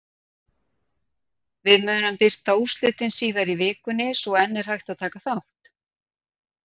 Við munum birta úrslitin síðar í vikunni svo enn er hægt að taka þátt!